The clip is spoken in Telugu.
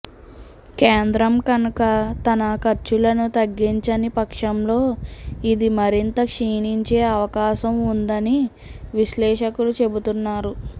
కేంద్రం కనుక తన ఖర్చులను తగ్గించని పక్షంలో ఇది మరింత క్షీణించే అవకాశం ఉందని విశ్లేషకులు చెబుతున్నారు